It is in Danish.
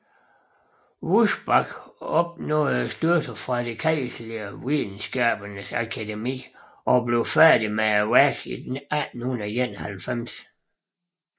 Wurzbach opnåede støtte fra det kejserlige videnskabernes akademi og blev færdig med værket i 1891